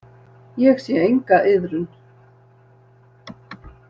Ég sé enga iðrun.